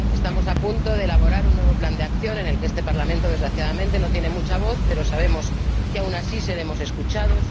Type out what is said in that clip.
Estamos a punto de elaborar un nuevo plan de acción en el que este Parlamento, desgraciadamente, no tiene mucha voz, pero sabemos que, aun así, seremos escuchados.